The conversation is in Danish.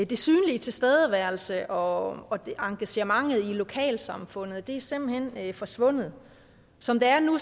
den synlig tilstedeværelse og engagementet i lokalsamfundet er simpelt hen forsvundet som det er nu